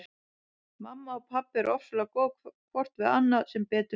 Mamma og pabbi eru ofsalega góð hvort við annað sem betur fer.